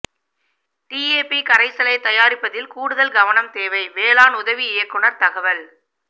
DAP கரைசலை தயாரிப்பதில் கூடுதல் கவனம் தேவை வேளாண் உதவி இயக்குனர் தகவல்